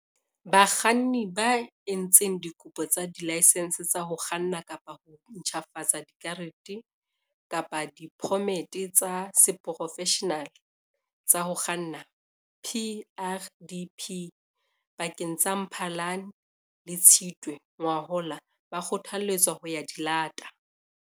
Bakganni ba entseng dikopo tsa dilaesense tsa ho kganna kapa ho ntjhafatsa dikarete kapa diphomete tsa seporofeshenale tsa ho kganna, PrDP, pakeng tsa Mphalane le Tshitwe ngwahola ba kgothaletswa ho ya di lata.